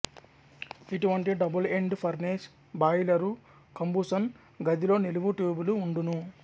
ఇటువంటి double end furnace boiler combustion గదిలో నిలువు ట్యూబులు ఉండును